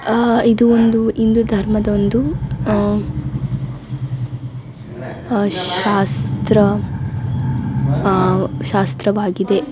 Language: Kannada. ಆಹ್ಹ್ ಇದು ಒಂದು ಹಿಂದೂ ಧರ್ಮದ ಒಂದು ಆಹ್ಹ್ ಆಹ್ಹ್ ಶಾಸ್ತ್ರ ಆಹ್ಹ್ ಶಾಸ್ತ್ರವಾಗಿದೆ.